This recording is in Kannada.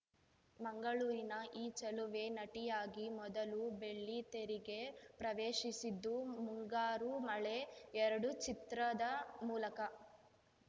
ಮಂಗಳೂರಿನ ಈ ಚೆಲುವೆ ನಟಿಯಾಗಿ ಮೊದಲು ಬೆಳ್ಳಿತೆರೆಗೆ ಪ್ರವೇಶಿಸಿದ್ದು ಮುಂಗಾರು ಮಳೆ ಎರಡು ಚಿತ್ರದ ಮೂಲಕ